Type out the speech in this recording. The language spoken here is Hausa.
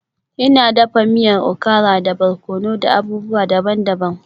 Ina dafa miyar okara da barkono da abubuwa daban-daban.